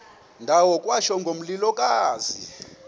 ndawo kwatsho ngomlilokazi